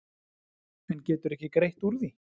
En geturðu ekki greitt úr því?